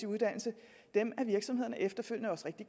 uddannelse er virksomhederne efterfølgende også rigtig